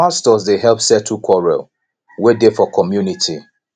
some pastors dey help settle quarrel wey dey for community